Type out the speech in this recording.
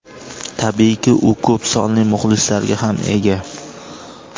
Tabiiyki, u ko‘p sonli muxlislarga ham ega.